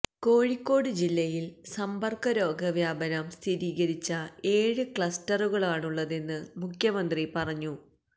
കോഴിക്കോട് ജില്ലയില് സമ്പര്ക്ക രോഗവ്യാപനം സ്ഥിരീകരിച്ച ഏഴ് ക്ലസ്റ്ററുകളാണുള്ളതെന്ന് മുഖ്യമന്ത്രി പറഞ്ഞു